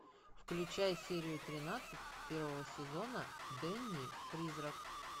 включай серию тринадцать первого сезона дэнни призрак